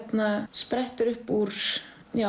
sprettur upp úr